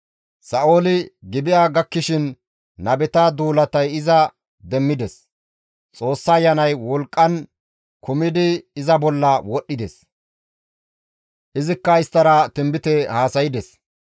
Sa7ooli Gibi7a gakkishin nabeta duulatay iza demmides; Xoossa Ayanay wolqqan kumidi iza bolla wodhdhides; izikka isttara tinbite haasaydes.